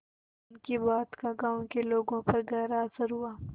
उनकी बात का गांव के लोगों पर गहरा असर हुआ